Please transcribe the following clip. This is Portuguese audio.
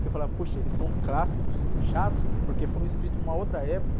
Que eu falava, poxa, eles são clássicos, chatos, porque foram escritos numa outra época.